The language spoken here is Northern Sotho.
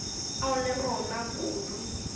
ao a le rona kudu